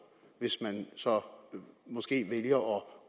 hvis man så måske vælger